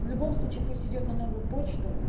в любом случае пусть идёт на новую почту